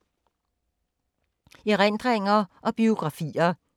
Erindringer og biografier